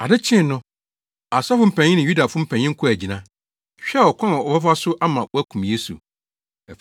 Ade kyee no, asɔfo mpanyin ne Yudafo mpanyin kɔɔ agyina, hwehwɛɛ ɔkwan a wɔbɛfa so ama wɔakum Yesu.